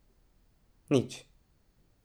Nič.